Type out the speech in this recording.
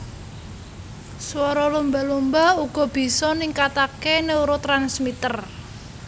Swara lumba lumba uga bisa ningkatake neurotransmitter